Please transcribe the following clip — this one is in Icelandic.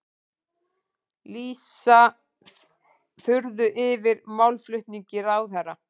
Lýsa furðu yfir málflutningi ráðherra